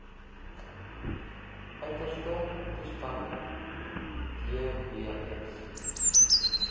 uiterste toestande dws